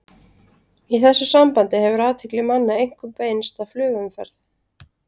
Í þessu sambandi hefur athygli manna einkum beinst að flugumferð.